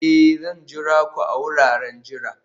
Ee!, Zan jira ku a wuraren jira